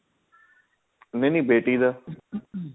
ਨਹੀਂ ਬੇਟੀ ਦਾ